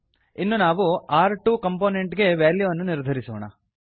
ಇನ್ನು ನಾವು ರ್2 ಕಂಪೋನೆಂಟ್ ಗೆ ವಾಲ್ಯೂ ಅನ್ನು ನಿರ್ಧರಿಸೋಣ